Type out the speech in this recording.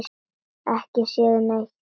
Ekki séð neitt.